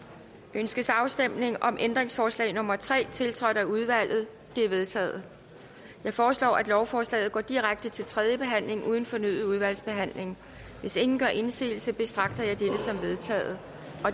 ønskes afstemning om ændringsforslag nummer tre tiltrådt af udvalget det er vedtaget jeg foreslår at lovforslaget går direkte til tredje behandling uden fornyet udvalgsbehandling hvis ingen gør indsigelse betragter jeg dette som vedtaget